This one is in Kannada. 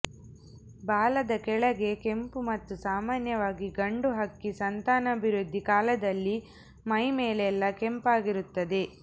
ಬಾಲದ ಕೆಳಗೆ ಕೆಂಪು ಮತ್ತು ಸಾಮಾನ್ಯವಾಗಿ ಗಂಡು ಹಕ್ಕಿ ಸಂತಾನಾಭಿವೃದ್ಧಿ ಕಾಲದಲ್ಲಿ ಮೈ ಮೇಲೆಲ್ಲ ಕೆಂಪಾಗಿರುತ್ತದೆ